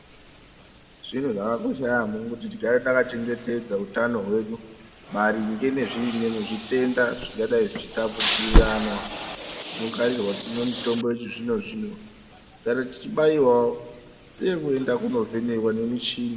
Zvintu zvakakosha yaamho kuti tigare takachengetedza utano hwedu maringe nezvitenda zvingadai zvichitapudziranwa. Tinokarirwa kuti timwe mitombo yechizvino-zvino, kugara tichibayiwawo uye kuende kovhenekwa ngemichini.